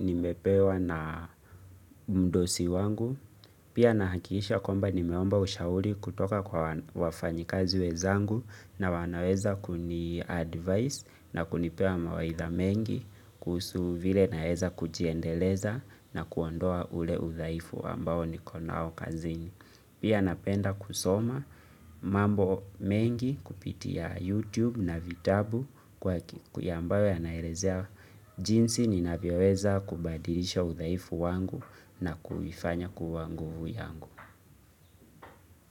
nimepewa na mdosi wangu. Pia nahakikisha kwamba nimeomba ushauri kutoka kwa wafanyikazi wenzangu na wanaweza kuniadvice na kunipea mawaidha mengi kuhusu vile naeza kujiendeleza na kuondoa ule udhaifu ambayo niko nao kazini. Pia napenda kusoma mambo mengi kupitia YouTube na vitabu kwa ambayo yanaelezea jinsi ninavyoweza kubadilisha udhaifu wangu na kuifanya kuwa nguvu yangu.